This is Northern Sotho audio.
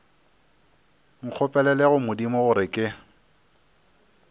nkgopelele go modimo gore ke